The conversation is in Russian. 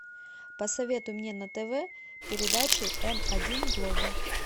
посоветуй мне на тв передачу м один глобал